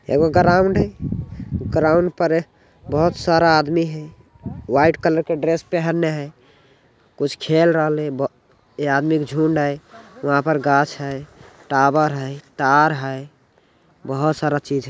एगो ग्राउन्ड है ग्राउन्ड पर बहुत सारा आदमी है| व्हाइट कलर के ड्रेस पहने है कुछ खेलरहले है ब ए आदमी के झुंड है वहाँ पर गाछ है टावर है तार है बहोत सारा चीज है।